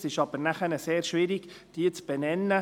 Es ist aber nachher sehr schwierig, diese zu benennen.